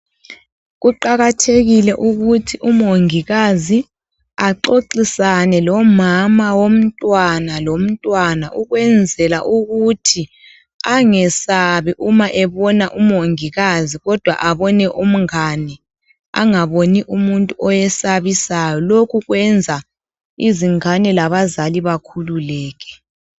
Kuqakathekile ukuthi umongikazi axoxisane lomama womntwana lomntwana ukwezela ukuthi angesabi uma bebona umongikazi, kodwa abone umngane .Angaboni umuntu owesabisayo. Lokhu kwenza izingane labazali bakhululeke.